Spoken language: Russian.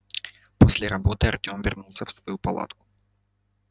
после работы артём вернулся в свою палатку